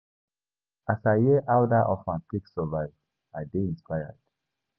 As I hear how dat orphan take survive, I dey inspired.